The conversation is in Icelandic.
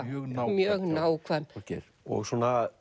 mjög nákvæm Þorgeir og svona